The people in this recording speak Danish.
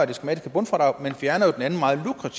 det skematiske bundfradrag vi fjerner